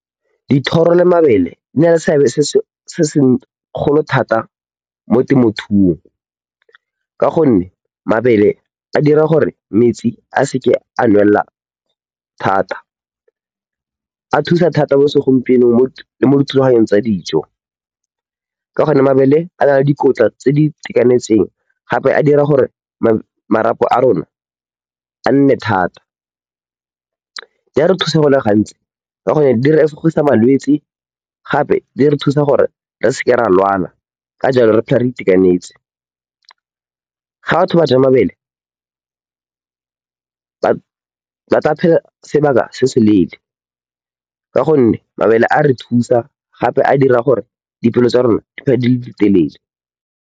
Dithoro le mabele di na le seabe se se golo thata mo temothuong ka gonne mabele a dira gore metsi a seke a nwelela thata. A thusa thata mo segompienong mo dithulaganyong tsa dijo ka gonne mabele a na le dikotla tse di itekanetseng gape a dira gore marapo a rona a nne thata. Di a re thusa go le gantsi ka gonne di re efogisa malwetse gape di re thusa gore re se ke ra lwala, ka jalo, re phele re itekanetse. Fa batho ba ja mabele ba tla phela sebaka se se leele ka gonne mabele a a re thusa gape a dira gore dipholo tsa rona di phele di le di telele.